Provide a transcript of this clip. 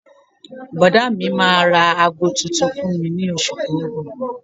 Bọ́dà mi máa ra aago tuntun fún mi lóṣù tó ń bọ̀